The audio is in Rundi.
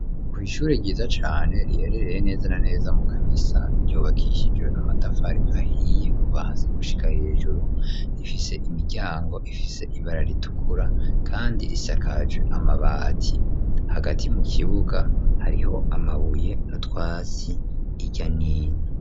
Kw,ishure ryiza cane riherereye neza na neza mu Kamesa ryubakishijwe amatafari ahiye kuva hasi gushika hejuru rifise imiryango ifise ibara ritukura kandi risakaje amabati hagati mu kibuga hariho amabuye n,utwasi irya nino.